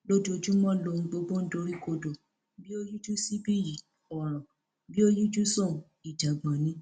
lójoojúmọ lohun gbogbo ń doríkodò bí ó yíjú síbí yìí ọràn bí ó yíjú sọhùnún ìjàngbọn ni